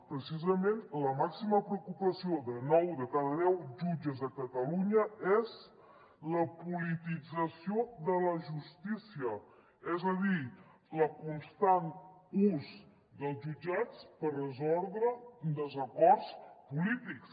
precisament la màxima preocupació de nou de cada deu jutges a catalunya és la politització de la justícia és a dir el constant ús dels jutjats per resoldre des·acords polítics